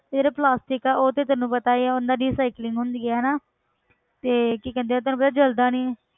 ਤੇ ਜਿਹੜਾ plastic ਆ ਉਹ ਤੇ ਤੈਨੂੰ ਪਤਾ ਹੀ ਹੈ ਉਹਨਾਂ ਦੀ recycling ਹੁੰਦੀ ਆ ਨਾ ਤੇ ਕੀ ਕਹਿੰਦੇ ਆ ਉਹ ਤੈਨੂੰ ਪਤਾ ਜਲਦਾ ਨੀ